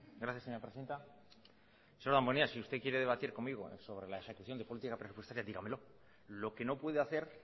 gracias señora presidenta señor damborenea si usted quiere debatir conmigo sobre la ejecución de política presupuestaria dígamelo lo que no puede hacer